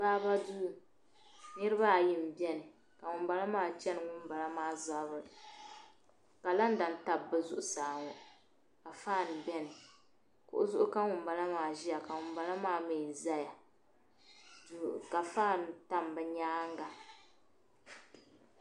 Baaba duu niraba ayi n biɛni ka ŋunboŋo maa chɛri ŋunbala maa zabiri kalanda n tabi bi zuɣusa ŋo ka faan biɛni kuɣu zuɣu ka ŋunbala maa ʒiya ka ŋunbala maa miiʒɛya ka faan tam bi nyaanga